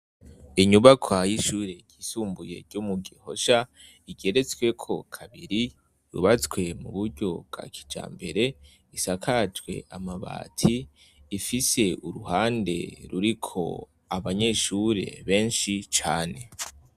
Inyubakwa y' ishure ryisumbuye ryo mugihosha rigeretsweko kabiri yubatswe mu buryo bwa kijambere isakajwe amabati ifise uruhande ruriko abanyeshure benshi cane.